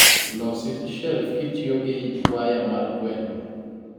Losi shelf kitiyo gi waya mar gweno